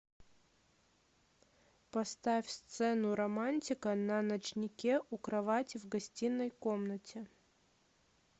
поставь сцену романтика на ночнике у кровати в гостиной комнате